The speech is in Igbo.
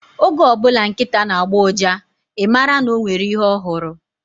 Oge ọbụla nkịta na-agbọ uja, I mara na o nwere ihe ọ hụrụ